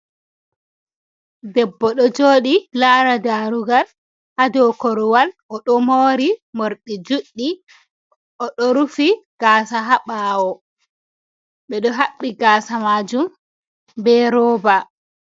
Debbo ɗo joɗi lara darugal hadow korwal, oɗo mori morɗi juɗɗi oɗo rufi gaasa haɓawo ɓeɗo haɓɓi gaasa majum be rooba.